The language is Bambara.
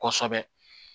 Kosɛbɛ